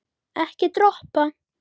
Ekki dropa.